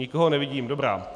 Nikoho nevidím, dobrá.